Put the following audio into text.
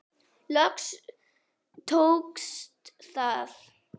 Loks tókst það.